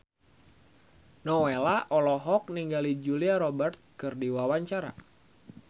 Nowela olohok ningali Julia Robert keur diwawancara